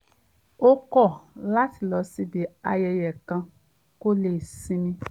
ó kọ̀ láti lọ síbi ayẹyẹ kan kó lè sinmi